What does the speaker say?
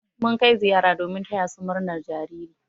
Mun kai ziyara domin taya su murnar jariri.